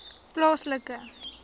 plaaslike